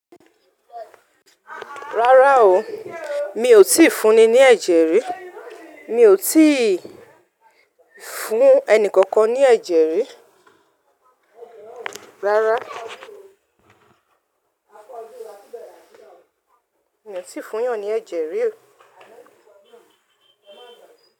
Rárá o, mi ò tíì fún ni ní ẹ̀jẹ̀ rí. Mi ò tíì fún ẹni kankan ní ẹ̀jẹ̀ rí. Rárá, mi ò tíì fún ìyàn ní ẹ̀jẹ̀ rí o.